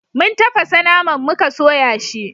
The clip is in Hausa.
mun tafasa naman muka soya shi